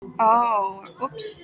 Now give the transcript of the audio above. Hún er stórkostleg.